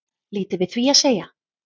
Lítið við því að segja